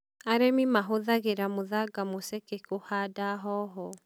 Arĩmi mahũthagĩra mũthanga mũceke kũhanda hoho.